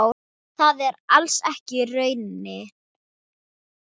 Það er alls ekki raunin.